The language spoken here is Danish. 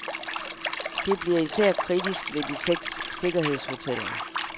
Det bliver især kritisk ved de seks sikkerhedshoteller.